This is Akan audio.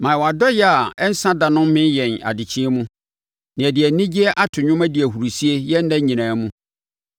Ma wʼadɔeɛ a ɛnsa da no mmee yɛn adekyeɛ mu, na yɛde anigyeɛ ato dwom adi ahurisie yɛn nna nyinaa mu.